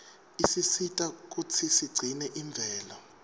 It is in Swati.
isisita kutsi sigcine imvelo